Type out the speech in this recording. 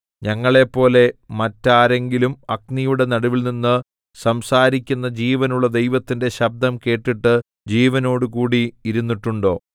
ഞങ്ങളെപ്പോലെ മറ്റാരെങ്കിലും അഗ്നിയുടെ നടുവിൽനിന്ന് സംസാരിക്കുന്ന ജീവനുള്ള ദൈവത്തിന്റെ ശബ്ദം കേട്ടിട്ട് ജീവനോടുകൂടി ഇരുന്നിട്ടുണ്ടോ